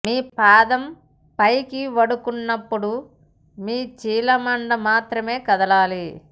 మీ పాదం పైకి వండుకున్నప్పుడు మీ చీలమండ మాత్రమే కదలాలి